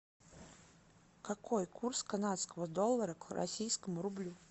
какой курс канадского доллара к российскому рублю